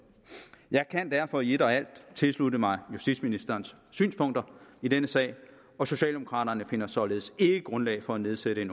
jeg kan derfor i et og alt tilslutte mig justitsministerens synspunkter i denne sag og socialdemokraterne finder således ikke grundlag for at nedsætte en